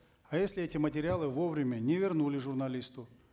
а если эти материалы вовремя не вернули журналисту